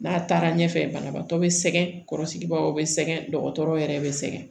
N'a taara ɲɛfɛ banabaatɔ be sɛgɛn kɔrɔsigibaw be sɛgɛn dɔgɔtɔrɔw yɛrɛ be sɛgɛn